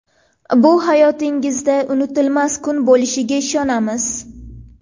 Bu hayotingizda unutilmas kun bo‘lishiga ishonamiz.